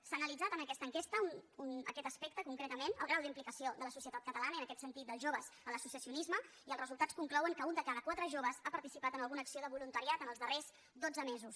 s’ha analitzat en aquesta enquesta aquest aspecte concretament el grau d’implicació de la societat catalana i en aquest sentit dels joves en l’associacionisme i els resultats conclouen que un de cada quatre joves ha participat en alguna acció de voluntariat en els darrers dotze mesos